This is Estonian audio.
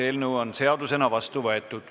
Eelnõu on seadusena vastu võetud.